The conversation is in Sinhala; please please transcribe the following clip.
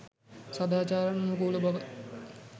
සදාචාරානුකූලබව